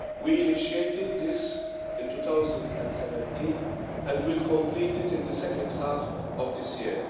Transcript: We initiated this in 2017 and will complete it in the second half of this year.